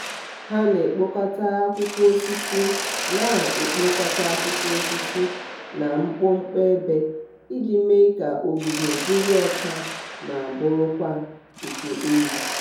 ha na-ekpokota akwụkwọ osisi na-ekpokota akwụkwọ osisi na mkpọmkpọ ebe iji mee ka ogige dịrị ọcha ma bụrụkwa nke ọyị.